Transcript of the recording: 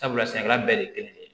Sabula sɛnɛkɛla bɛɛ de ye kelen ye